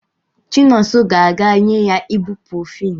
Chinonso ga-aga enye ya iburuprofeni